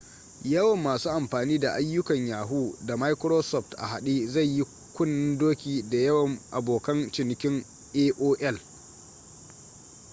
yawan masu amfani da ayyukan yahoo da microsoft a haɗe zai yi kunnen-doki da yawan abokan cinikin aol